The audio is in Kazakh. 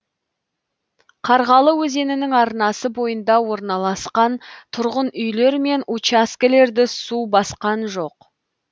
қарғалы өзенінің арнасы бойында орналасқан тұрғын үйлер мен учаскелерді су басқан жоқ